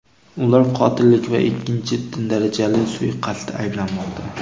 Ular qotillik va ikkinchi darajali suiqasdda ayblanmoqda.